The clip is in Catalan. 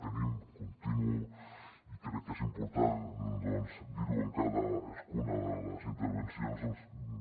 tenim i crec que és important dirho en cadascuna de les intervencions